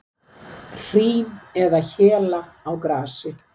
Hrím eða héla á grasi.